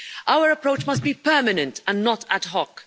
Our approach must be permanent and not ad hoc.